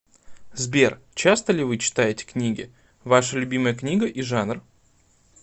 сбер часто ли вы читаете книги ваша любимая книга и жанр